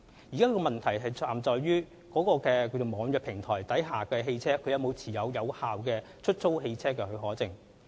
現時的問題在於網約平台下的汽車是否持有有效的出租汽車許可證。